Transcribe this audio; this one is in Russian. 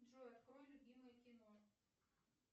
джой открой любимое кино